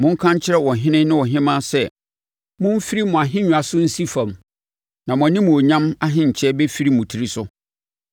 Monka nkyerɛ ɔhene ne ɔhemmaa sɛ, “Momfiri mo ahennwa so nsi fam, na mo animuonyam ahenkyɛ bɛfiri mo tiri so.”